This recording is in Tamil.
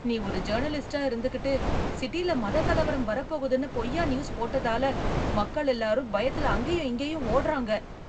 நீ ஒரு ஜர்னலிஸ்ட்டா இருந்துகிட்டு, சிட்டில மதக் கலவரம் வரப்போகுதுன்னு பொய்யான நியூஸ் போட்டதால, மக்கள் எல்லாரும் பயத்துல அங்கேயும் இங்கேயும் ஒடுறாங்க